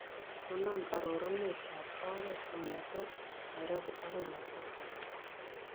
Konon arorunetab ooreet kong'eten nairobi agoi machakos